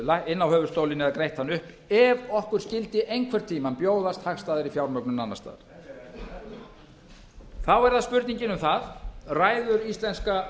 inn á höfuðstólinn eða greitt hann upp ef okkur skyldi einhvern tíma bjóðast hagstæðari fjármögnun annars staðar þá er það spurningin um það ræður íslenska